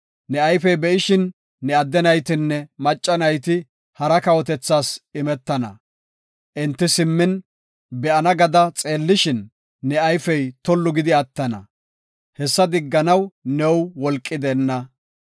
Ne ayfey be7ishin ne adde naytinne macca nayti hara kawotethas imetana. Enti simmin be7ana gada xeellishin, ne ayfey tollu gidi attana; hessa digganaw new wolqi deenna.